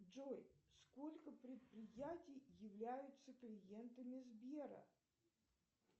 джой сколько предприятий являются клиентами сбера